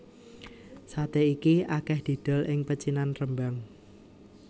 Saté iki akeh didol ing pecinan Rembang